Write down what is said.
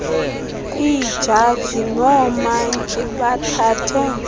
iijaji noomantyi bathathe